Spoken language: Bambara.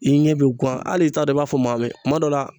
I ɲɛ bɛ guwan hali i t'a dɔn i b'a fɔ maa min ye kuma dɔ la